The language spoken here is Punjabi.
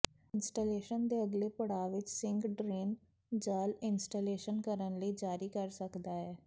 ਇੰਸਟਾਲੇਸ਼ਨ ਦੇ ਅਗਲੇ ਪੜਾਅ ਵਿੱਚ ਸਿੰਕ ਡਰੇਨ ਜਾਲ ਇੰਸਟਾਲੇਸ਼ਨ ਕਰਨ ਲਈ ਜਾਰੀ ਕਰ ਸਕਦਾ ਹੈ